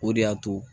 O de y'a to